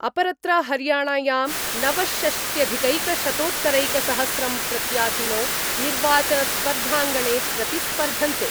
अपरत्र हरियाणायां नवषष्ट्यधिकैकशतोत्तरैकसहस्रं प्रत्याशिनो निर्वाचनस्पर्धांगणे प्रतिस्पर्धन्ते।